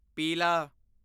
ਪੀਲਾ